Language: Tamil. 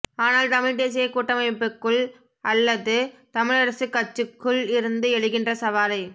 ஆனால் தமிழ்த் தேசியக் கூட்டமைக்குள் அல்லது தமிழரசுக் கட்சிக்குள் இருந்து எழுகின்ற சவாலை